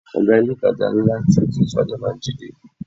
Oga ilé-itàjà ńlá ti Twins Faja máa ń jí dé.